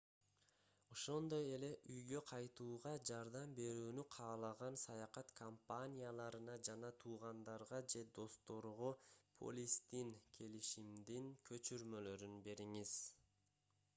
ошондой эле үйгө кайтууга жардам берүүнү каалаган саякат компанияларына жана туугандарга же досторго полистин/келишимдин көчүрмөлөрүн бериңиз